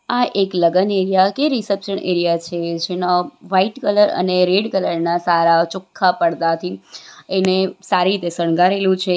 આ એક લગન એરીયા કે રિસેપ્શન એરીયા છે જેનો વાઈટ કલર અને રેડ કલર ના સારા ચોખ્ખા પડદાથી એને સારીતે શણગારેલું છે.